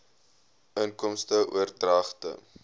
inkomste oordragte